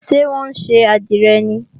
Ṣé wọ́n ṣe àdìrẹ ni?